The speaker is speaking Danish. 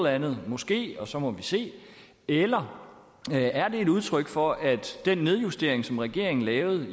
andet måske og så må vi se eller er det et udtryk for at den nedjustering som regeringen lavede